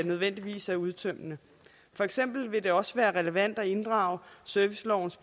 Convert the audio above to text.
nødvendigvis er udtømmende for eksempel vil det også være relevant at inddrage servicelovens